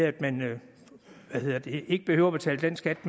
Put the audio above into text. at man ikke behøver betale den skat